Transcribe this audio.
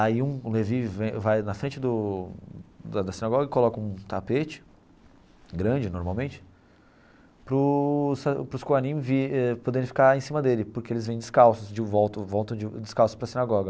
Aí um um Levín vem vai na frente do da da sinagoga e coloca um tapete, grande normalmente, para os para os kohanim poderem ficar em cima dele, porque eles vêm descalços, de volta voltam descalços para a sinagoga.